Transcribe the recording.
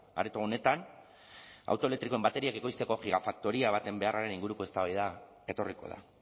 areto honetan auto elektrikoen bateriak ekoizteko gigafaktoria baten beharraren inguruko eztabaida etorriko da